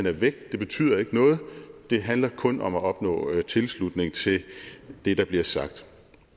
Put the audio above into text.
er væk det betyder ikke noget det handler kun om at opnå tilslutning til det der bliver sagt